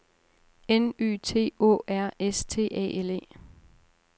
N Y T Å R S T A L E